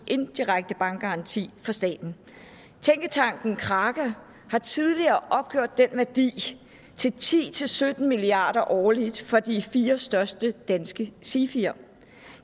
indirekte bankgaranti fra staten tænketanken kraka har tidligere opgjort den værdi til ti til sytten milliard kroner årligt for de fire største danske sifier